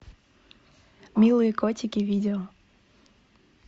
милые котики видео